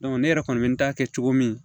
ne yɛrɛ kɔni bɛ n ta kɛ cogo min